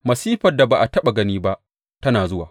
Masifar da ba a taɓa gani ba tana zuwa.